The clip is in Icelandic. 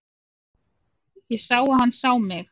Ég sá að hann sá mig.